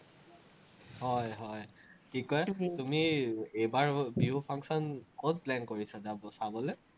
হয় হয়, কি কয়, তুমি এইবাৰ বিহু function ক'ত plan কৰিছা, চাবলে?